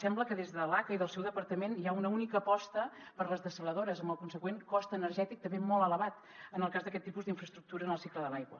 sembla que des de l’aca i del seu departament hi ha una única aposta per les dessaladores amb el conseqüent cost energètic també molt elevat en el cas d’aquest tipus d’infraestructura en el cicle de l’aigua